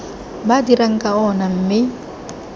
ba dirang ka ona mme